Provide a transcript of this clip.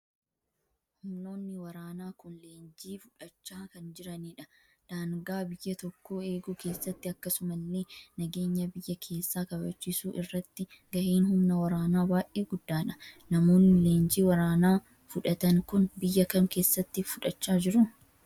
Humnoonni waraanaa kun leenjii fudhachaa kan jiranidha. Daangaa biyya tokkoo eeguu keessatti akkasumallee nageenya biyya keessaa kabachiisuu irratti gaheen humna waraanaa baay'ee guddaadha. Namoonni leenjii waraanaa fudhatan kun biyya kam keessatti fudhachaa jiru?